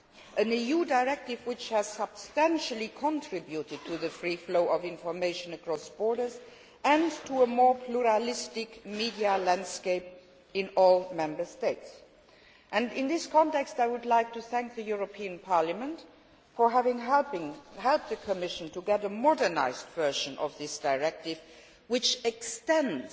an EU directive which has substantially contributed to the free flow of information across borders and to a more pluralistic media landscape in all Member States. In this context, I would like to thank the European Parliament for having helped the Commission to get a modernised version of this directive which extends